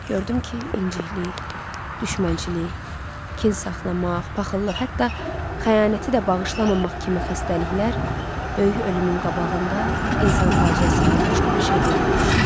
Gördüm ki, inciklik, düşmənçilik, kin saxlamaq, paxıllıq, hətta xəyanəti də bağışlamamaq kimi xəstəliklər böyük ölümün qabağında insan faciəsindən başqa bir şey deyilmiş.